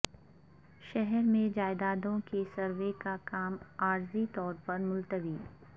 شہر میں جائیدادوں کے سروے کا کام عارضی طور پر ملتوی